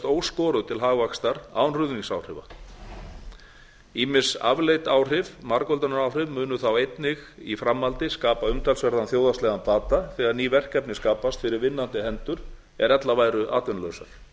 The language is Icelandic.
óskoruð til hagvaxtar án ruðningsáhrifa ýmis afleidd áhrif margföldunaráhrif munu þá einnig í framhaldi skapa umtalsverðan þjóðhagslegan bata þegar ný verkefni skapast fyrir vinnandi hendur er ella væru